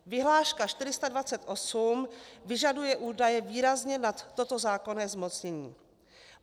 Vyhláška 428 vyžaduje údaje výrazně nad toto zákonné zmocnění.